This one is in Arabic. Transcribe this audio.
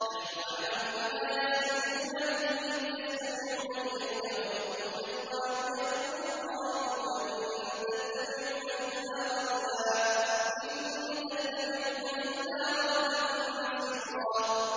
نَّحْنُ أَعْلَمُ بِمَا يَسْتَمِعُونَ بِهِ إِذْ يَسْتَمِعُونَ إِلَيْكَ وَإِذْ هُمْ نَجْوَىٰ إِذْ يَقُولُ الظَّالِمُونَ إِن تَتَّبِعُونَ إِلَّا رَجُلًا مَّسْحُورًا